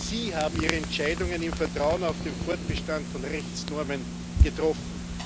Sie haben ihre Entscheidungen im Vertrauen auf den Fortbestand von Rechtsnormen getroffen.